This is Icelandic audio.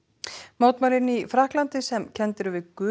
mótmælin í Frakklandi sem kennd eru við gul